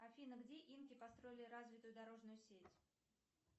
афина где инки построили развитую дорожную сеть